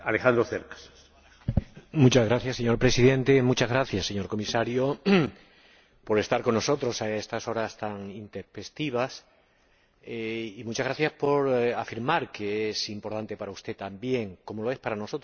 Señor Presidente, muchas gracias, señor Comisario, por estar con nosotros a estas horas tan intempestivas y muchas gracias por afirmar que es importante para usted también, como lo es para nosotros —están la presidenta, los coordinadores.